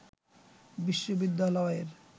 বিশ্ববিদ্যালয়ের